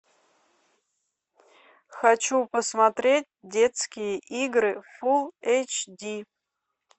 хочу посмотреть детские игры фул эйч ди